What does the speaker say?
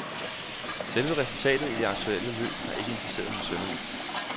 Selve resultatet i det aktuelle løb har ikke interesseret ham synderligt.